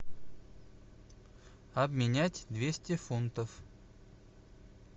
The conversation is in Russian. обменять двести фунтов